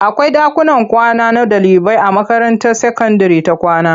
Akwai ɗakuman kwana na ɗaliibai a makaranta sakandire ta kwama.